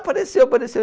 Apareceu, apareceu!